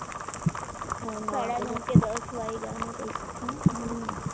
સાદા નવ કે દસ વાગ્યાના કંઈક છે ને તારે